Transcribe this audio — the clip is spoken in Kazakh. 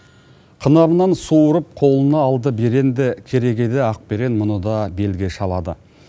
қынарынан суырып қолына алды беренді керегейлі ақберең мұны да белге шабады